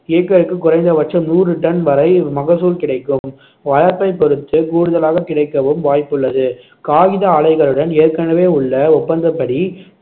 ஏக்கருக்கு குறைந்த பட்சம் நூறு டன் வரை மகசூல் கிடைக்கும் வளர்ப்பைப் பொறுத்து கூடுதலாகக் கிடைக்கவும் வாய்ப்பு உள்ளது காகித ஆலைகளுடன் ஏற்கனவே உள்ள ஒப்பந்தப்படி